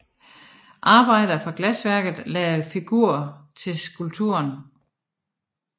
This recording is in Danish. Arbejdere fra glasværket lagde figur til skulpturen